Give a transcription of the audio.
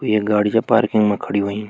ये गाड़ी चा पार्किंग मा खड़ी होईं।